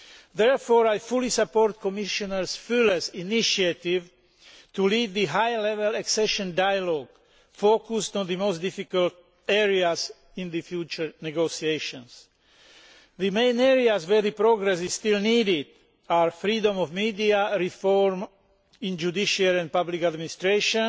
Therefore, I fully support Commissioner Füle's initiative to leave the higher level accession dialogue focused on the most difficult areas in the future negotiations. The main areas where progress is still needed are freedom of the media, reform in judicial and public administration